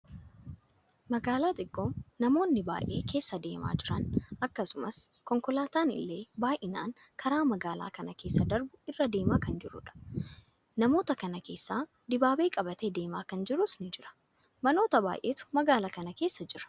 Magaalaa xiqqoo namoonni baayyee keessa deemaa jiran akkasumas konkolaataan illee baayyinaan karaa magaalaa kana keessa darbu irra deemaa kan jirudha. Namoota kana keessaa dibaabee qabatee deemaa kan jirus ni jira. Manoota baayyeetu magaalaa kana keessa jira.